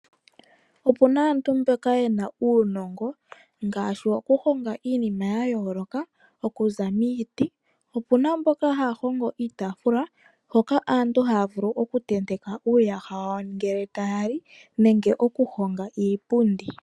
Opuna aantu mboka yena uunongo ngaashi woku honga iinima ya yooloka okuza miiti. Opuna mboka haya hongo iitaafula hoka aantu haya vulu oku tenteka uuyaha wawo ngele taya li nenge okuhonga iipundi.